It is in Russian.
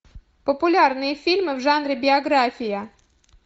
популярные фильмы в жанре биография